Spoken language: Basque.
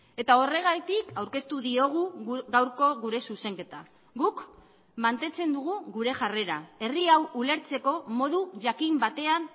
eta horregatik aurkeztu diogu gaurko gure zuzenketa guk mantentzen dugu gure jarrera herri hau ulertzeko modu jakin batean